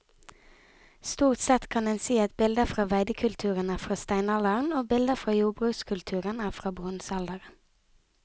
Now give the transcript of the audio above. Stort sett kan en si at bilder fra veidekulturen er fra steinalderen og bilder fra jordbrukskulturen er fra bronsealderen.